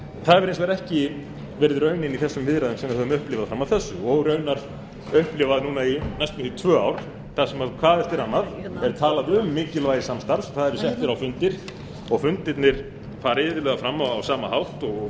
það hefur hins vegar ekki verið raunin í þessum viðræðum sem við höfum upplifað fram að þessu og raunar upplifað núna næstum því í tvö ár þar sem hvað eftir annað er talað um mikilvægi samstarfs það eru settir á fundir og fundirnir fara iðulega fram á sama hátt og